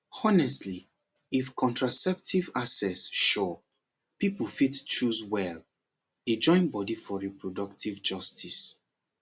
honestly if contraceptive access sure people fit choose well e join body for reproductive justice